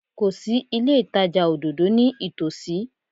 Kò sí ilé ìtajà òdòdó ní ìtòsí.